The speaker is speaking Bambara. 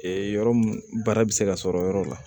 yɔrɔ mun baara bɛ se ka sɔrɔ o yɔrɔ la